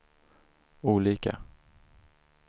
olika